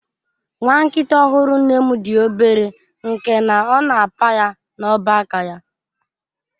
Nwa nkita ọhụrụ nne m dị obere nke na ọ na apa ya n'ọba aka ya.